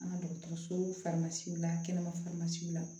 An ka dɔgɔtɔrɔsow farimasiw la kɛnɛma